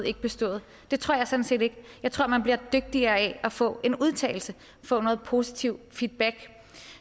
ikke bestået det tror jeg sådan set ikke jeg tror man bliver dygtigere af at få en udtalelse at få noget positiv feedback